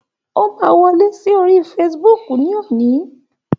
O máa wọlé sí orí Facebook ní òní.